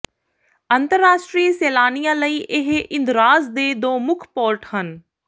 ਅੰਤਰਰਾਸ਼ਟਰੀ ਸੈਲਾਨੀਆਂ ਲਈ ਇਹ ਇੰਦਰਾਜ਼ ਦੇ ਦੋ ਮੁੱਖ ਪੋਰਟ ਹਨ